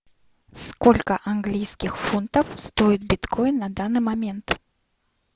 сколько английских фунтов стоит биткоин на данный момент